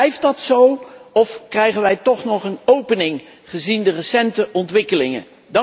Blijft dat zo of krijgen wij toch nog een opening, gezien de recente ontwikkelingen?